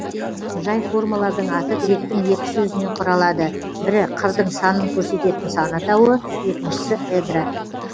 жай формалардың аты гректің екі сөзінен құралады бірі қырдың санын көрсететін сан атауы екіншісі эдра